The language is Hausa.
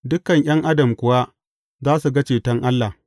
Dukan ’yan Adam kuwa za su ga ceton Allah!’